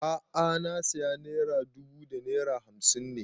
A'a na saya naira dubu da naira hamsin ne